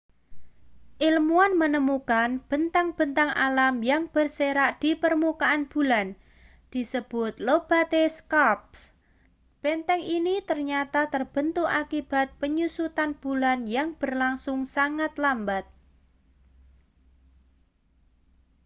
ilmuwan menemukan bentang-bentang alam yang berserak di permukaan bulan disebut lobate scarps bentang ini ternyata terbentuk akibat penyusutan bulan yang berlangsung sangat lambat